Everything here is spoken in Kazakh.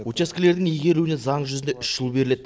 учаскелердің игерілуіне заң жүзінде үш жыл беріледі